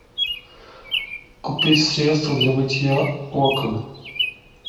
купить средство для мытья окон